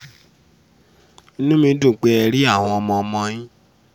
inú mi dùn pé ẹ rí àwọn ọmọ-ọmọ yín